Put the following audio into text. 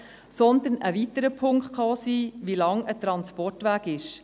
Ein weiterer Punkt kann auch sein, wie lange ein Transportweg ist.